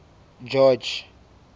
george